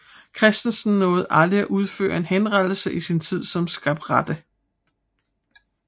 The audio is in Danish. Christensen nåede aldrig at udføre en henrettelse i sin tid som skarpretter